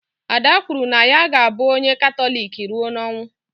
Ada kwuru na ya ga abụ onye Katọlik rụọ n'ọnwụ